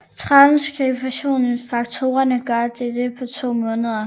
Transskriptionsfaktorerne gør dette på to måder